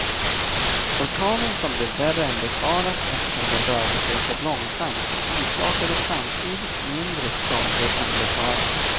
Orkanen som blev värre än befarat eftersom den rörde sig så långsamt, orsakade samtidigt mindre skador än befarat.